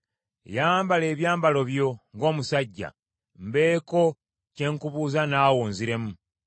Yambala ebyambalo byo ng’omusajja, mbeeko bye nkubuuza naawe onziremu.